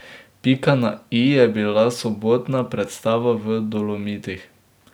Pika na i je bila sobotna predstava v Dolomitih.